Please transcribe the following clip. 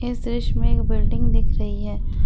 इस दृश्य में एक बिल्डिंग दिख रही है।